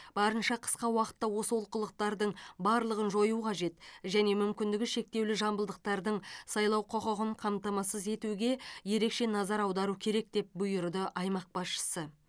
барынша қысқа уақытта осы олқылықтардың барлығын жою қажет және мүмкіндігі шектеулі жамбылдықтардың сайлау құқығын қамтамасыз етуге ерекше назар аудару керек деп бұйырды аймақ басшысы